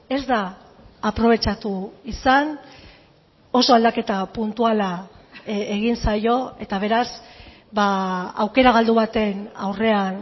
ez da aprobetxatu izan oso aldaketa puntuala egin zaio eta beraz aukera galdu baten aurrean